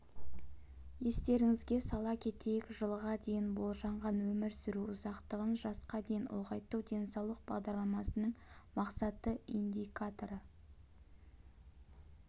естеріңізге сала кетейік жылға дейін болжанған өмір сүру ұзақтығын жасқа дейін ұлғайту денсаулық бағдарламасының мақсатты индикаторы